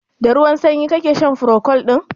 Da ruwan sanyi ka sha furocold ɗin?